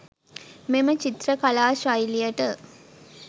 මෙම චිත්‍ර කලා ශෛලියට